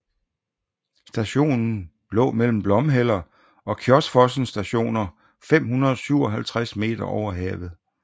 Stationen lå mellem Blomheller og Kjosfossen Stationer 557 meter over havet